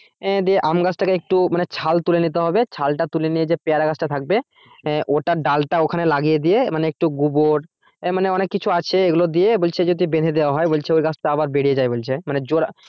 আহ দিয়ে আমগাছটাকে একটু মানে ছাল তুলে নিতে হবে ছাল টা তুলে নিয়ে যে পেয়ারা গাছটা থাকবে আহ ওটার ডালটা ওখানে লাগিয়ে দিয়ে মানে একটু গোবর আহ মানে অনেক কিছু আছে ওগুলো দিয়ে বলছে যদি বেঁধে দেওয়া হয় বলছে ওই গাছটা আবার বেড়ে যায় বলছে মানে জোড়া